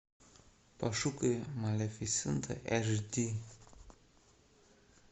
пошукай малефисента эш ди